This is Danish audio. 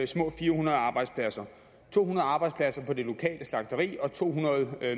små fire hundrede arbejdspladser to hundrede arbejdspladser på det lokale slagteri og to hundrede